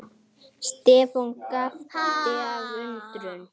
Stefán gapti af undrun.